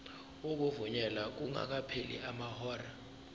ukuvunyelwa kungakapheli amahora